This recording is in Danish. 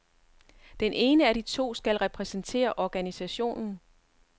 Den ene af de to skal repræsentere organisationen.